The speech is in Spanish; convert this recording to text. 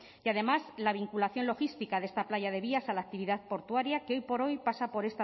y además la vinculación logística de esta playa de vías a la actividad portuaria que hoy por hoy pasa por